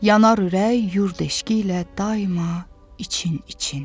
Yanar ürək yurd eşqi ilə daima için-için.